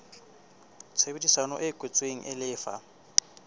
tshebedisano e kwetsweng e lefa